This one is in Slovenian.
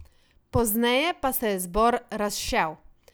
Pozneje pa se je zbor razšel.